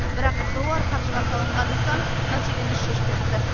бірақ қыруар қаржыға салынған нысан мәселені шешпепті